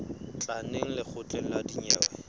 tla neng lekgotleng la dinyewe